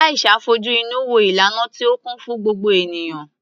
Aisha fojú inú wo ìlànà tí ó kún fún gbogbo ènìyàn.